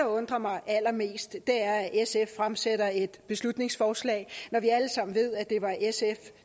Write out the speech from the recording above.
undrer mig allermest er at sf fremsætter et beslutningsforslag når vi alle sammen ved at det var sf